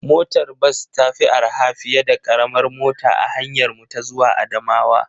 Motar bas ta fi araha fiye da karamar mota a hanyarmu ta zuwa Adamawa.